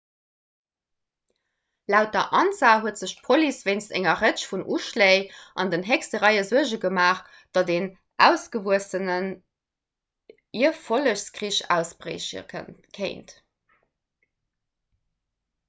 laut der ansa huet sech d'police wéinst enger rëtsch vun uschléi an den héchste réie suerge gemaach datt en ausgewuessenen ierfollegskrich ausbrieche kéint